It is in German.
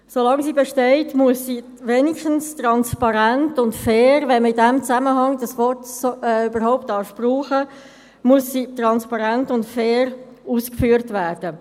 Solange sie besteht, muss sie wenigstens transparent und fair – wenn man in diesem Zusammenhang dieses Wort überhaupt brauchen darf – ausgeführt werden.